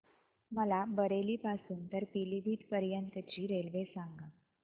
मला बरेली पासून तर पीलीभीत पर्यंत ची रेल्वे सांगा